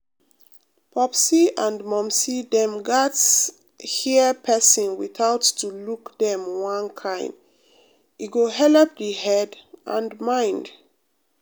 popsi and momsi dem gats um hear persin without to look dem one um kind e um go helep the head and mind.